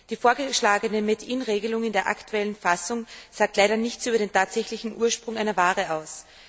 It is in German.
Die vorgeschlagene Made in Regelung in der aktuellen Fassung sagt leider nichts über den tatsächlichen Ursprung einer Ware aus.